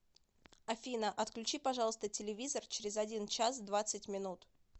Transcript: афина отключи пожалуйста телевизор через один час двадцать минут